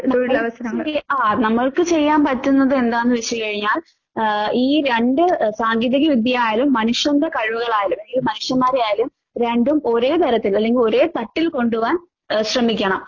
ആഹ് നമ്മൾക്ക് ചെയ്യാൻ പറ്റുന്നത് എന്താന്ന് വെച്ച് കഴിഞ്ഞാൽ ആഹ് ഈ രണ്ട് സാങ്കേതിക വിദ്യയായാലും മനുഷ്യന്റെ കഴിവുകളായാലും അതായത് മനുഷ്യമ്മാരെയായാലും രണ്ടും ഒരേ തരത്തിൽ അല്ലെങ്കിൽ ഒരേ തട്ടിൽ കൊണ്ടുപോകാൻ ഏ ശ്രമിക്കണം.